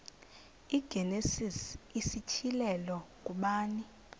igenesis isityhilelo ngubani